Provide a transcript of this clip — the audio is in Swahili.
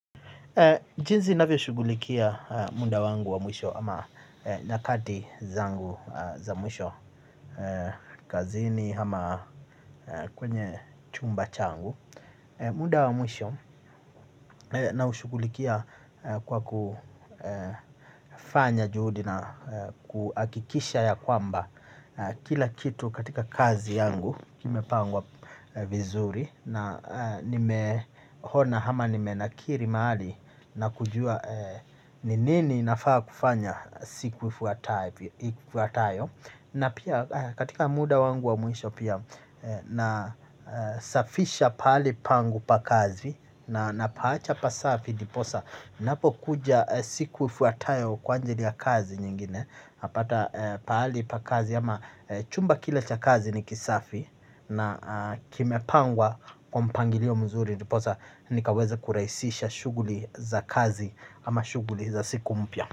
Jinsi navyoshughulikia muda wangu wa mwisho ama nyakati zangu za mwisho, kazini ama kwenye chumba changu. Muda wa mwisho naushughulikia kwa kufanya juhudi na kuhakikisha ya kwamba kila kitu katika kazi yangu, kimepangwa vizuri na nimeona ama nimenakili mahali na kujua ni nini nafaa kufanya siku ifuatayo na pia katika muda wangu wa mwisho pia na jinsi navyoshughulikia muda wangu wa mwisho ama nyakati zangu za mwisho, kazini ama kwenye chumba changu. Na kimepangwa kwa mpangilio mzuri ndiposa nikaweze kurahisisha shughuli za kazi ama shughuli za siku mpya.